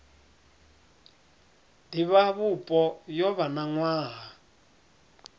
divhavhupo yo vha na nwaha